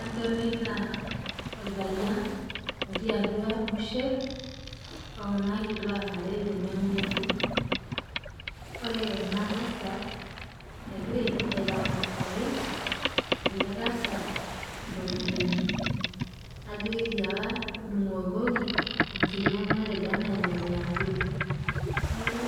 Adolita orpayian otii atua busher okuna kituak are tene ore enatasat egira aitarasaki eletasat iropiyiani ano ketiaka tudungokoki enkiringo matejo enemiambili neaku